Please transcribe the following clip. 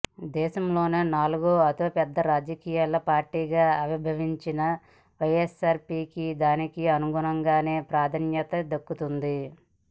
దేశంలోనే నాలుగో అతిపెద్ద రాజకీయ పార్టీగా ఆవిర్భవించిన వైఎస్ఆర్సీపీకి దానికి అనుగుణంగానే ప్రాధాన్యత దక్కుతోంది